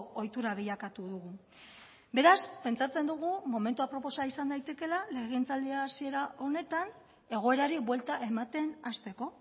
ohitura bilakatu dugu beraz pentsatzen dugu momentu aproposa izan daitekeela legegintzaldi hasiera honetan egoerari buelta ematen hasteko